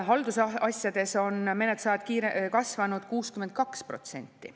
Haldusasjades on menetlusajad kasvanud 62%.